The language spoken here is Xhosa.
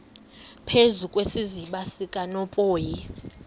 phezu kwesiziba sikanophoyi